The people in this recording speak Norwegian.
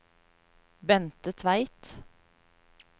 Bente Tveit